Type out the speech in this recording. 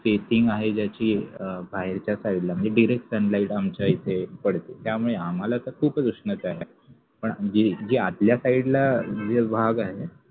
facing आहे ज्याची बाहेरच्या side ला म्हणजे direct sunlight आमच्याइथे पडते त्यामुळे आम्हाला तर खूपच उष्णता आहे पण जे जे आतल्या side ला जे भाग आहे